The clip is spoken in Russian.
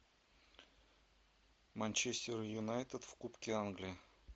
манчестер юнайтед в кубке англии